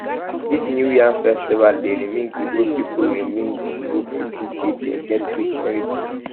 dis new yam festival dey reming ibo pipu reming ibo pipu sey dey get rich heritage